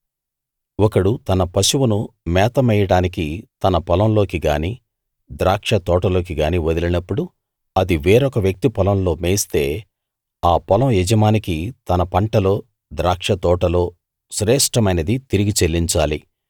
ఒకడు తన పశువును మేత మేయడానికి తన పొలం లోకి గానీ ద్రాక్ష తోటలోకి గానీ వదిలినప్పుడు అది వేరొక వ్యక్తి పొలంలో మేస్తే ఆ పొలం యజమానికి తన పంటలో ద్రాక్షతోటలో శ్రేష్ఠమైనది తిరిగి చెల్లించాలి